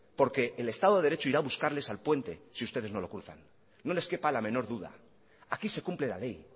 porque el estado de derecho irá a buscarles al puente si ustedes no lo cruzan no les quepa la menor duda aquí se cumple la ley